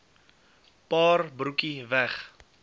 paar broekie weg